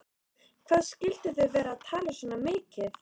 Hvað skyldu þau vera að tala svona mikið?